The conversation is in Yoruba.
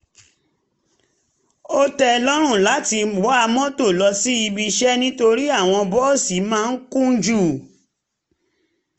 ó tẹ́ ẹ lọ́rùn láti wa mọ́tò lọ síbi iṣẹ́ nítorí àwọn bọ́ọ̀sì máa ń kún jù